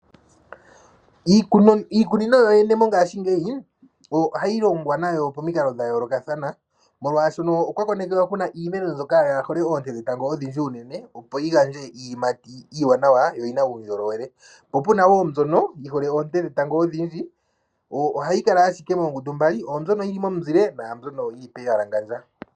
Iikunino yoyene mongashingeyi ohayi longiwa nayo momikalo dhayoolokatha molwaasho okwa konekwa kuna iimeno mbyoka yaahole oonte dhetango odhindji unene, opo yigandje iiyimati iiwanawa yo oyina uundjolowele. Opuna wo mbyono yihole oonte dhetango odhindji. Ohayi kala moongundu mbali mbyoka yili momunzile naambyoka yili poowalangandjo.